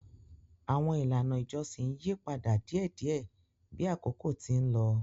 Àwọn ilàná ìjọsìn ń yí padà díẹ̀díẹ̀ bí àkókò ti ń lọ.